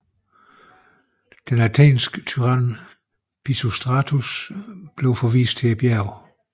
Den athenske tyran Pisistratus blev forvist til bjerget